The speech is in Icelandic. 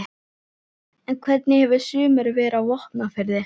En hvernig hefur sumarið verið á Vopnafirði?